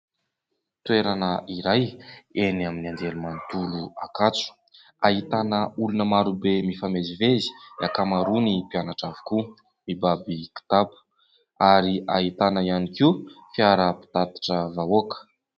Toerana iray eny amin'ny Anjerimanontolo Ankatso ahitana olona maro be mifamezivezy, ny ankamaroany mpianatra avokoa, mibaby kitapo ary ahitana ihany koa fiara-pitatitra vahoaka.